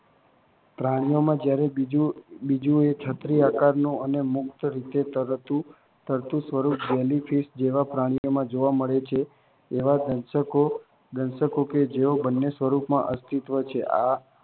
પ્રાણીઓમાં જ્યારે બાજુંએ છત્રી-આકારનું અને મુક્ત રીતે તરતું સ્વરૂપ જેલીફિશ જેવા પ્રાણીઓમાં જોવા મળે છે. એવા દેશકો કે જેઓ બંને સ્વરૂપોમાં અસ્તિત્વ છે.